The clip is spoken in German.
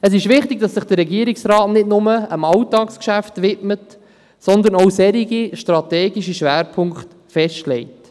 – Es ist wichtig, dass sich der Regierungsrat nicht nur dem Alltagsgeschäft widmet, sondern dass er auch solche strategischen Schwerpunkte festlegt.